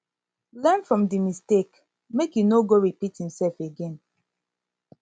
learn from di mistake make e no go repeat imself again